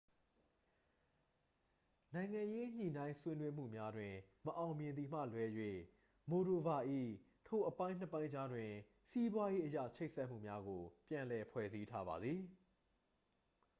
နိုင်ငံရေး ညှိနှိုင်းဆွေးနွေးမှုများတွင် မအောင်မြင်သည်မှလွဲ၍ မိုဒိုဗာ ၏ ထိုအပိုင်းနှစ်ပိုင်းကြားတွင် စီးပွားရေးအရချိတ်ဆက်မှုများကို ပြန်လည်ဖွဲ့စည်းထားပါသည်